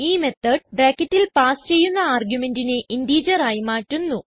ഈ മെത്തോട് ബ്രാക്കറ്റിൽ പാസ് ചെയ്യുന്ന argumentനെ ഇന്റിജർ ആയി മാറ്റുന്നു